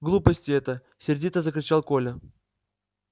глупости это сердито закричал коля